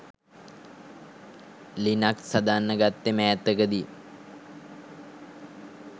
Linux හදන්න ගත්තෙ මෑතකදි.